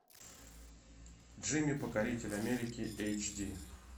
джимми покоритель америки эйч ди